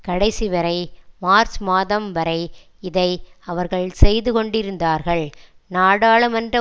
கடைசிவரை மார்ச் மாதம் வரை இதை அவர்கள் செய்து கொண்டிருந்தார்கள் நாடாளுமன்ற